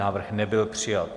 Návrh nebyl přijat.